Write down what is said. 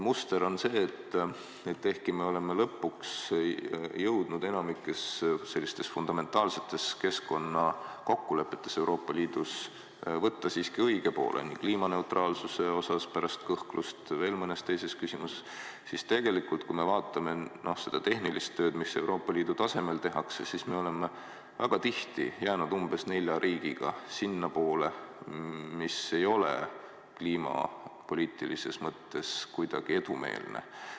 Muster on see, et ehkki me oleme lõpuks jõudnud enamikus fundamentaalsetes keskkonnakokkulepetes Euroopa Liidus võtta siiski õige poole, nii kliimaneutraalsuse puhul kui pärast kõhklust ka veel mõnes teises küsimuses, aga kui me vaatame seda tehnilist tööd, mida Euroopa Liidu tasemel tehakse, siis me oleme väga tihti jäänud koos umbes nelja riigiga sellele poolele, mis ei ole kliimapoliitilises mõttes kuidagi edumeelne.